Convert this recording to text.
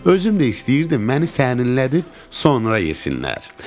Özüm də istəyirdim məni sərinlədib sonra yesinlər.